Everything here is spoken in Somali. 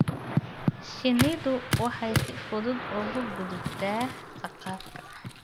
Shinnidu waxay si fudud uga gudubtaa saqafka.